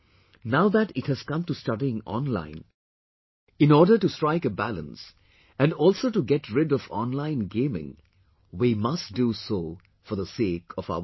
Now that it has come to studying online, in order to strike a balance and also to get rid of online gaming we must do so for the sake of our children